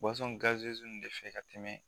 ninnu de fɛ ka tɛmɛ